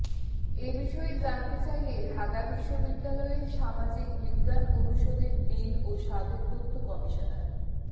এ বিষয়ে জানতে চাইলে ঢাকা বিশ্ববিদ্যালয়ের সামাজিক বিজ্ঞান অনুষদের ডিন ও সাবেক তথ্য কমিশনার